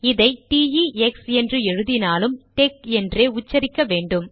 இதை T E X என்று எழுதினாலும் டெக் என்றே உச்சரிக்க வேண்டும்